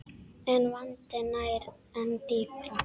En vandinn nær enn dýpra.